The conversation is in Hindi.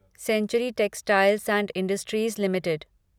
century Textiles and Industries limited